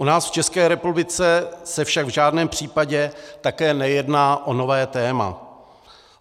U nás v České republice se však v žádném případě také nejedná o nové téma.